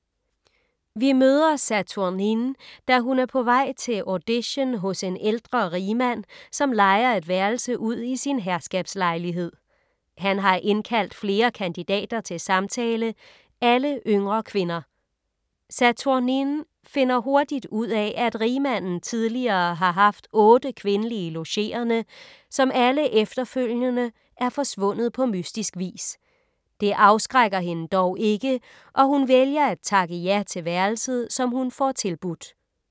Vi møder Saturnine, da hun er på vej til audition hos en ældre rigmand, som lejer et værelse ud i sin herskabslejlighed. Han har indkaldt flere kandidater til samtale, alle yngre kvinder. Saturnine finder hurtigt ud af, at rigmanden tidligere har haft otte kvindelige logerende, som alle efterfølgende er forsvundet på mystisk vis. Det afskrækker hende dog ikke og hun vælger at takke ja til værelset, som hun får tilbudt.